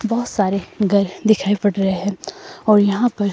बहोत सारे घर दिखाई पड़ रहे है और यहां पर--